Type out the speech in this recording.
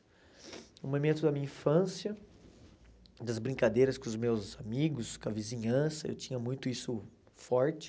Um momento da minha infância, das brincadeiras com os meus amigos, com a vizinhança, eu tinha muito isso forte.